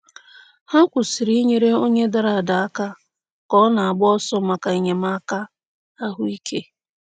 Ha kwụsịrị inyere onye dara ada aka ka ọ na-agba ọsọ maka enyemaka ahụike.